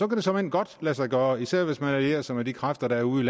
det såmænd godt lade sig gøre især hvis man allierer sig med de kræfter der er ude